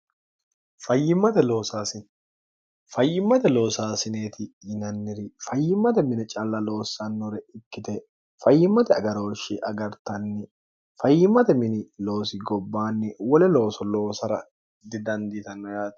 fayyimmate loosaasineeti yinanniri fayyimmate mini calla loossannore ikkite fayyimmate agarooshshi agartanni fayyimmate mini loosi gobbaanni wole looso loosara didandiitanno yaati